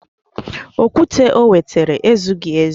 Okwute o wetara ezughị ezu